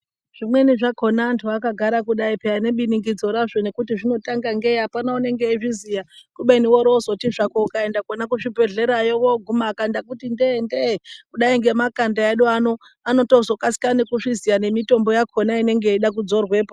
Zvimweni zvakhona antu akagara pee nebiningidzo razvo nekuti zvinotanga ngei apana unenge eizviziya kubeni worozoti zvako ukaenda kwona kuzvibhedhlerayo woguma akanda kuti nde nde kudayi ngemakanda edu ano anotozokasika nekuzviziya nemitombo yakhona inenga yeide kudzorwepo.